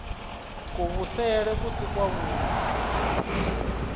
kuvhusele ku si kwavhui u